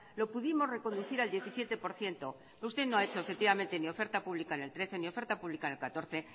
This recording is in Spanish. lo pudimos reconducir al diecisiete por ciento usted no ha hecho efectivamente ni oferta pública en el dos mil trece ni oferta pública en el dos mil catorce